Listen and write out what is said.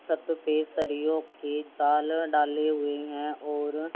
छत पे सलीरीओ के जल डाले हुए हैं और--